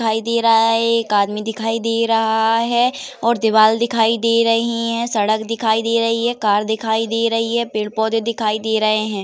दिखाई दे रहा है। एक आदमी दिखाई दे रहा है और दीवाल दिखाई दे रही हैं। सड़क दिखाई दे रही है। कार दिखाई दे रही है। पेड़ पौधे दिखाई दे रहे हैं।